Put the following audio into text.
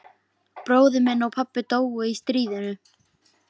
Bróðir minn og pabbi dóu í stríðinu.